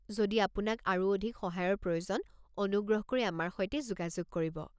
যদি আপোনাক আৰু অধিক সহায়ৰ প্ৰয়োজন, অনুগ্ৰহ কৰি আমাৰ সৈতে যোগাযোগ কৰিব।